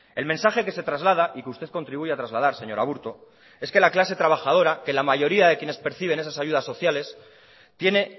el mensaje que se traslada y que usted contribuye a trasladar señor aburto es que la clase trabajadora que la mayoría de quienes perciben esas ayudas sociales tiene